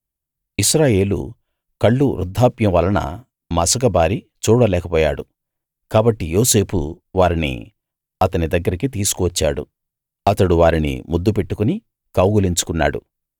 ఇశ్రాయేలు కళ్ళు వృద్ధాప్యం వలన మసకబారి చూడలేక పోయాడు కాబట్టి యోసేపు వారిని అతని దగ్గరికి తీసుకు వచ్చాడు అతడు వారిని ముద్దు పెట్టుకుని కౌగిలించుకున్నాడు